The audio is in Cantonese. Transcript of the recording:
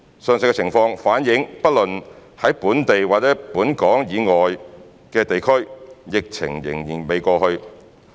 上述情況反映不論在本地或本港以外的地區，疫情仍未過去。